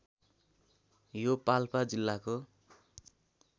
यो पाल्पा जिल्लाको